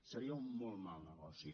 seria un molt mal negoci